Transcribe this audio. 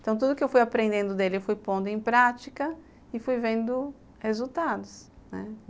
Então, tudo que eu fui aprendendo dele, eu fui pondo em prática e fui vendo resultados, né.